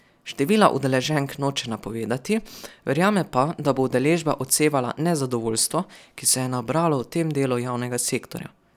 Števila udeleženk noče napovedovati, verjame pa, da bo udeležba odsevala nezadovoljstvo, ki se je nabralo v tem delu javnega sektorja.